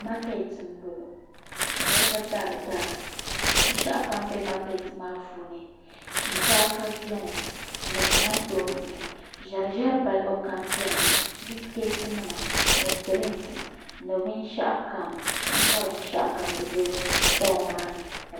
Maketiti m boŋɔ ka niriba dari dara binshaɣu kam be Maketiti maa puuni shinkaafa biɛni ni kamantoosi ʒɛriʒɛri balli kam biɛni bisiketi nima ni dirinki ni binshaɣu kam ayibori binshaɣu kam di be shitɔɣu maa ni.